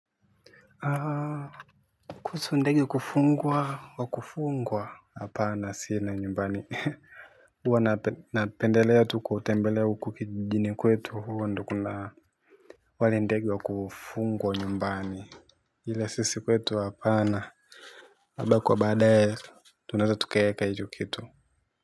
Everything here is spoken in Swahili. Kuhusu ndege wa kufungwa, wa kufungwa. Hapana sina nyumbani. Huwa napendelea tu kutembelea huko kijini kwetu huko ndio kuna wale ndege wa kufungwa nyumbani. Ila sisi kwetu hapana labda kwa baadaye tunaweza tukaweka hicho kitu.